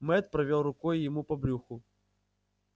мэтт провёл рукой ему по брюху